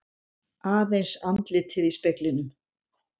Aðeins andlitið í speglinum.